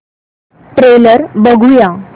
trailer बघूया